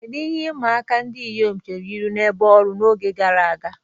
Kedu ihe ịma aka ndị inyom chere ihu n'ebe ọrụ n'oge gara aga?